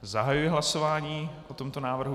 Zahajuji hlasování o tomto návrhu.